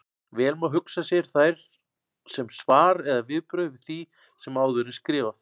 Vel má hugsa sér þær sem svar eða viðbrögð við því sem áður er skrifað.